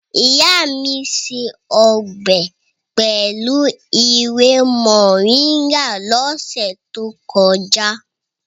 Ìyá mi se ọbẹ̀ pẹ̀lú ewé Moringa lọ́sẹ̀ tó kọjá.